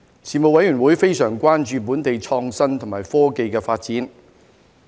事務委員會非常關注本地創新及科技的發展。